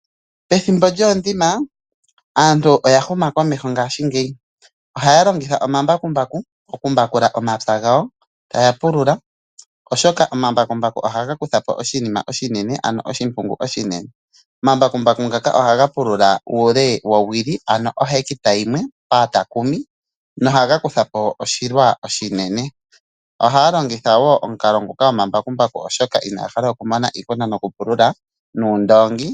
Pethimbo lyoondima, aantu ngashingeyi oya huma komeho. Ohaya longitha omambakumbaku okupula omapya gawo, taya pulula oshoka omambakumbaku ohaya kuthapo oshimpungu oshinene. Omambakumbaku ngaka ohaga pulula uule wowili, na ohaga pulula oshilwa oshinene. Ohaya longitha wo omukalo ngoka gwokulongitha omambakumbaku oshoka inaya hala okumona iihuna yokupulula noondoongi.